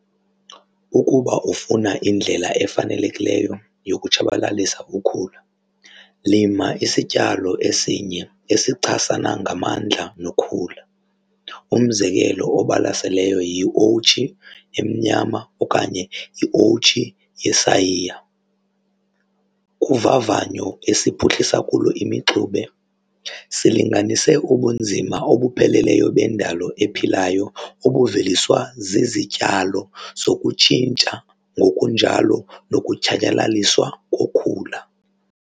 Ukuba ufuna indlela efanelekileyo yokutshabalalisa ukhula, lima isityalo esinye esichasana ngamandla nokhula. Umzekelo obalaseleyo yiowutshi emnyama okanye iowutshi yesayiya. Kuvavanyo esiphuhlisa kulo imixube, silinganise ubunzima obupheleleyo bendalo ephilayo obuveliswa zizityalo zokutshintsha ngokunjalo nokutshatyalaliswa kokhula.